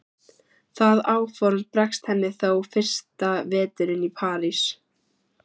Það áform bregst henni þó fyrsta veturinn í París.